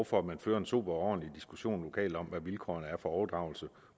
for at man fører en sober og ordentlig diskussion lokalt om hvad vilkårene for overdragelse